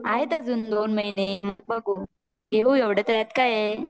आहेत अजून दोन महिने मग बघू घेऊ त्यात काय एवढा